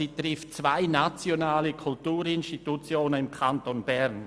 Sie trifft zwei nationale Kulturinstitutionen im Kanton Bern.